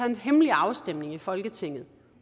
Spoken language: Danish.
en hemmelig afstemning i folketinget